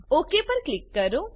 okay પર click કરો